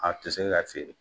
A te se ka feere.